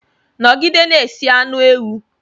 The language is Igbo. Nọgide na-esi anu ewu!